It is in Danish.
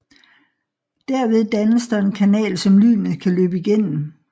Derved dannes der en kanal som lynet kan løbe igennem